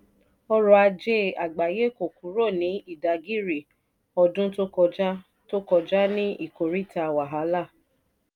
ọrọ̀ ajé àgbáyé kò kúrò ní ìdágìrì ọdún to kọjá to kọjá ní ìkòríta wàhálà.